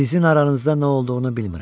Sizin aranızda nə olduğunu bilmirəm.